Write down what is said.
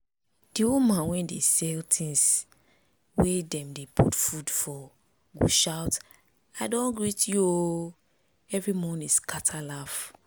the woman wey dey sell things wey dem dey put for food go shout “i don greet you o!” every morning scatter laugh